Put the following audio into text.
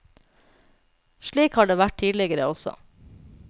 Slik har det vært tidligere også.